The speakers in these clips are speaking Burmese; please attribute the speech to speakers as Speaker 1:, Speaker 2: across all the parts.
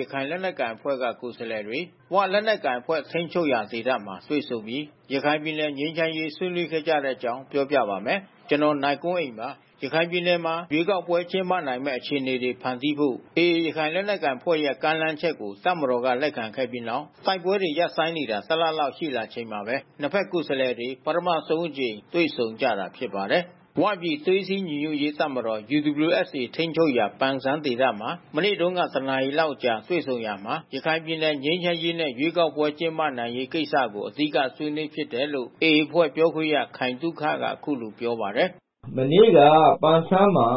Speaker 1: ရခိုင်လက်နက်ကိုင်အဖွဲ့က ကိုယ်စားလှယ်တွေ ဝလက်နက်ကိုင်အဖွဲ့ ထိန်းချုပ်ရာ ဒေသမှာ တွေ့ဆုံပြီး ရခိုင်ပြည်နယ် ငြိမ်းချမ်းရေး ဆွေးနွေးခဲ့ကြတဲ့အကြောင်း ပြောပြပါမယ်။ ဗွီအိုအေမြန်မာပိုင်း သတင်းထောက် ကိုနိုင်ကွန်းအိန်က သတင်းပေးပို့ထားပါတယ်။ ရခိုင်ပြည်နယ်မှာ ရွေးကောက်ပွဲ ကျင်းပနိုင်မယ့် အခြေအနေတွေ ဖန်တီးဖို့ AA ရခိုင်လက်နက်ကိုင်အဖွဲ့ရဲ့ ကမ်းလှမ်းချက်ကို တပ်မတော်က လက်ခံခဲ့ပြီးနောက် တိုက်ပွဲတွေ ရပ်ဆိုင်းနေတာ ၁ လလောက် ရှိလာချိန်မှာပဲ နှစ် ဘက် ကိုယ်စားလှယ်တွေ ပထမဆုံးအကြိမ် တွေ့ဆုံကြတာ ဖြစ်ပါတယ်။ “ဝ” ပြည် သွေးစည်းညီညွတ်ရေးတပ်မတော် ထိန်းချုပ်ရာ ပန်ဆန်းမြို့မှာ မနေ့တုန်းက ၁ နာရီလောက်ကြာ တွေ့ဆုံရာမှာ ရခိုင်ပြည်နယ် ငြိမ်းချမ်းရေးနဲ့ ရွေးကောက်ပွဲတွေ ကျင်းပနိုင်ရေး ကိစ္စတွေကို အဓိက ဆွေးနွေးဖြစ်တယ်လို့လည်း AA အဖွဲ့ ပြောခွင့်ရ ခိုင်သုခက အခုလိုပြောပါတယ်။
Speaker 2: “မနေ့က ပန်ဆန်းမှာ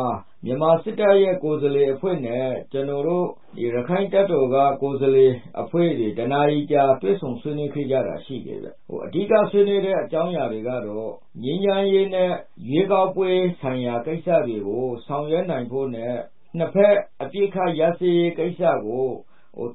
Speaker 2: မြန်မာစစ်တပ်ရဲ့ ကိုယ်စားလှယ်အဖွဲ့နဲ့ ကျနော်တို့ ရခိုင့်တပ်တော်ကကိုယ်စားလှယ်အဖွဲ့တွေ တနာရီကြာ တွေ့ဆုံဆွေးနွေးခဲ့ကြတာရှိတယ်ဗျ။ အဓိကဆွေးနွေးတဲ့ အကြောင်းအရာတွေကတော့ ငြိမ်းချမ်းရေးနဲ့ ရွေးကောက်ပွဲဆိုင်ရာကိစ္စတွေကို ဆောင်ရွက်နိုင်ဖို့နဲ့ နှစ်ဘက်အပစ်ခတ်ရပ်စဲရေးကိစ္စကို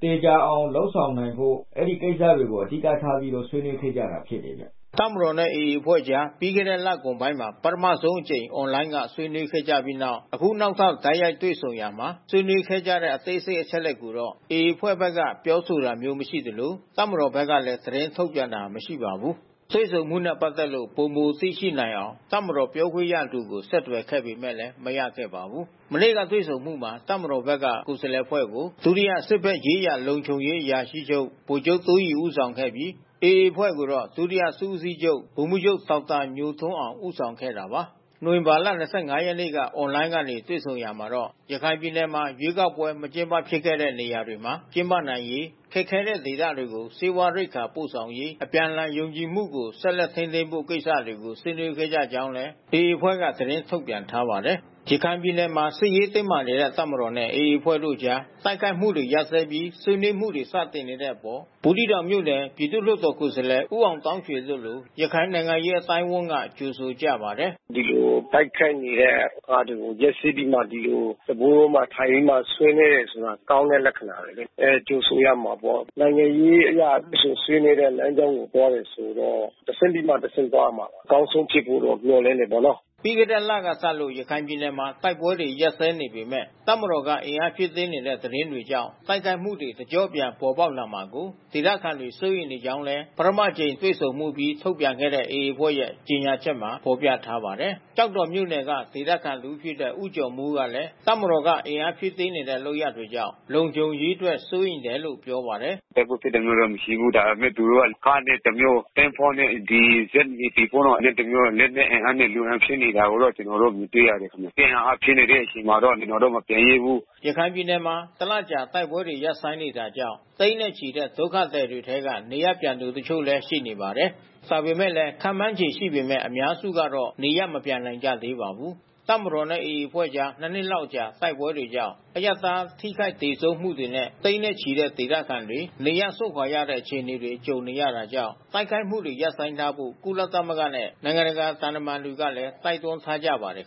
Speaker 2: သေချာအောင်လုပ်ဆောင်နိုင်ဖို့ အဲဒီကိစ္စတွေကို အဓိကထားပြီးတော့ ဆွေးနွေးခဲ့ကြတာ ဖြစ်တယ်ဗျ။”
Speaker 1: တပ်မတော်နဲ့ AA အဖွဲ့ကြား ပြီးခဲ့တဲ့ လကုန်ပိုင်းမှာ ပထမဆုံးအကြိမ် အွန်လိုင်းက ဆွေးနွေးခဲ့ကြပြီးနောက် အခုနောက်ထပ် တိုက်ရိုက်တွေ့ဆုံရာမှာ ဆွေးနွေးခဲ့ကြတဲ့ အသေးစိတ် အချက်အလက်တွေကိုတော့ AA အဖွဲ့ဘက်က ပြောဆိုတာမျိုး မရှိသလို တပ်မတော်ဘက်ကလည်း သတင်းထုတ်ပြန်တာ မရှိပါဘူး။ တွေ့ဆုံမှုနဲ့ ပတ်သက်လို့ ပိုမိုသိရှိနိုင်အောင် တပ်မတော်ပြောခွင့်ရသူကို ဆက်သွယ်ပေမဲ့လည်း မရခဲ့ပါဘူး။ မနေ့ကတွေ့ဆုံမှုမှာ တပ်မတော်ဘက်က ကိုယ်စားလှယ်အဖွဲ့ကို စစ်ဘက်ဆိုင်ရာလုံခြုံရေးအရာရှိချုပ် ဗိုလ်ချုပ်တိုးရီဦးဆောင်ခဲ့ပြီး AA အဖွဲ့ကိုတော့ ဒုတိယ စစ်ဦးစီးချုပ် ဒေါက်တာညိုထွန်းအောင် ဦးဆောင်ခဲ့တာပါ။ နိုဝင်ဘာလ ၂၅ ရက်နေ့က အွန်လိုင်းကနေ တွေ့ဆုံရာမှာတော့ ရခိုင်ပြည်နယ်မှာ ရွေးကောက်ပွဲ မကျင်းပဖြစ်ခဲ့တဲ့ နေရာတွေမှာ ကျင်းပနိုင်ရေး၊ ခက်ခဲတဲ့ဒေသတွေကို ဆေးဝါးရိက္ခာ ပို့ဆောင်ရေး၊ အပြန်အလှန်ယုံကြည်မှုကို ဆက်လက်ထိန်းသိမ်းဖို့ ကိစ္စတွေကို ဆွေးနွေးခဲ့ကြောင်းလည်း AA အဖွဲ့က သတင်းထုတ်ပြန် ထားပါတယ်။ ရခိုင်ပြည်နယ်မှာ စစ်ရေးတင်းမာနေတဲ့ တပ်မတော်နဲ့ AA အဖွဲ့တို့အကြား တိုက်ခိုက်မှုတွေ ရပ်စဲပြီး ဆွေးနွေးမှုတွေ စတင်နေတဲ့အပေါ် ဘူးသီးတောင်မြို့နယ် ပြည်သူ့လွှတ်တော်ကိုယ်စားလှယ် ဦးအောင်သောင်းရွှေ တို့လို ရခိုင်နိုင်ငံရေး အသိုင်းအဝန်းက ကြိုဆိုကြပါတယ်။ “ဒီလိုတိုက်ခိုက်နေတဲ့အစာ
Speaker 2: း ရပ်စဲပြီးမှ ဒီလိုစားပွဲဝိုင်းတွေမှာ ထိုင်ပြီးမှ ဆွေးနွေးတယ်ဆိုတာ ကောင်းတဲ့လက္ခဏာပဲလေ။ ကြိုဆိုရမှာပေါ့။ နိုင်ငံရေးအရ တွေ့ဆုံဆွေးနွေးတဲ့လမ်းကြောင်းကိုသွားတယ်ဆိုတော့ တဆင့်ပြီးမှ တဆင့်သွားရမှာပေါ့။ အကောင်းဆုံးဖြစ်ဖို့တော့ မျှော်လင့်တယ်ပေါ့နော်။
Speaker 1: " ပြီးခဲ့တဲ့လကစလို့ ရခိုင်ပြည်နယ်မှာ တိုက်ပွဲတွေ ရပ်စဲနေပေမဲ့ တပ်မတော်က အင်အားဖြည့်တင်းနေတဲ့ သတင်းတွေကြောင့် တိုက်ခိုက်မှုတွေ တကျော့ပြန် ပေါ်ပေါက်လာမှာကို ဒေသခံတွေ စိုးရိမ်နေကြောင်းလည်း ပထမတကြိမ်တွေ့ဆုံမှုအပြီး ထုတ်ပြန်ခဲ့တဲ့ AA အဖွဲ့ရဲ့ ကြေညာချက်မှာ ဖော်ပြထားပါတယ်။ ကျောက်တော်မြို့နယ်က ဒေသခံတဦးဖြစ်တဲ့ ဦးကျော်မိုးကလည်း တပ်မတော်က အင်အားဖြည့်တင်းနေတဲ့ လုပ်ရပ်တွေကြောင့် လုံခြုံရေးအတွက် စိုးရိမ်တယ်လို့ ပြောပါတယ်။
Speaker 2: “တိုက်ပွဲဖြစ်တာမျိုးတော့ မရှိဘူး။ ဒါပေမဲ့ သူတို့က ကားနဲ့တမျိုး၊ သင်္ဘောနဲ့ ဒီဇက် NAVY ပေါ့နော်တမျိုး။ လက်နက်အင်အားနဲ့ လူအင်အားဖြည့်နေတာကိုတော့ ကျနော်တို့ မြင်တွေ့ရတယ်။ စစ်အင်အားဖြည့်နေတဲ့အချိန်မှာတော့ ကျနော်တို့ မပြန်ရဲဘူး
Speaker 1: ။" ရခိုင်ပြည်နယ်မှာ တလလောက်ကြာ တိုက်ပွဲတွေ ရပ်ဆိုင်းနေတာကြောင့် သိန်းနဲ့ချီတဲ့ ဒုက္ခသည်တွေထဲက နေရပ်ပြန်သူ တချို့လည်း ရှိပါတယ်။ ဒါပေမဲ့လည်း ခန့်မှန်းခြေ ရှိပေမဲ့ အများစုကတော့ နေရပ်မပြန်နိုင်ကြသေးပါဘူး။ တပ်မတော်နဲ့ AA အဖွဲ့ကြား ၂ နှစ်လောက်ကြာ တိုက်ပွဲတွေကြောင့် အရပ်သား ထိခိုက်သေဆုံးမှုတွေနဲ့ သိန်းနဲ့ချီတဲ့ ဒေသခံတွေ နေရပ်စွန့်ခွာရတဲ့ အခြေအနေတွေ ကြုံနေရတာကြောင့် တိုက်ခိုက်မှုတွေ ရပ်ဆိုင်းထားဖို့ ကုလသမဂ္ဂနဲ့ နိုင်ငံတကာ သံတမန်တွေကလည်း တိုက်တွန်းထားကြပါတယ်